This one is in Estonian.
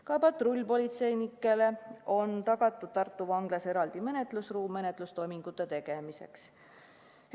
Ka patrullpolitseinikele on Tartu Vanglas tagatud eraldi ruum menetlustoimingute tegemiseks.